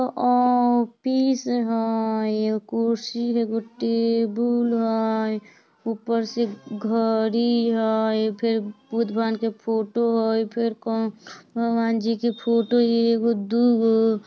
अ office हैइ एगो कुर्सी एगो टेबूल हैइ ऊपर से घड़ी हैइ अ फेर बुद्ध भगवान जी का फोटो हइ अ फेर कोन से भगवान जी का फोटो हैइ ईगो-दुगो |